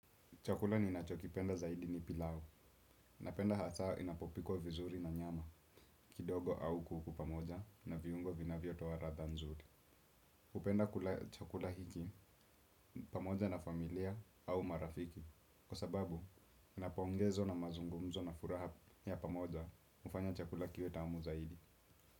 Chakula ni nachokipenda zaidi ni pilau. Napenda hata inapopikwa vizuri na nyama, kidogo au kuku pamoja na viungo vinavyo towa radha nzuri. Upenda kula chakula hiki pamoja na familia au marafiki. Kwa sababu, napongezo na mazungumzo na furaha ya pamoja, ufanya chakula kiwe tamu zaidi.